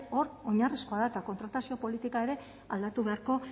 hor oinarrizkoa da eta kontratazio politika ere aldatu beharko